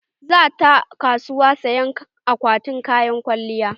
Za ta kasuwa saya akwatin kayan kwalliya.